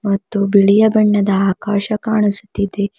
ಮತ್ತು ಬಿಳಿಯ ಬಣ್ಣದ ಆಕಾಶ ಕಾಣಿಸುತ್ತಿದೆ.